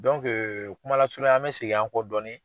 kumalasurunya an mi segin an kɔ dɔɔnin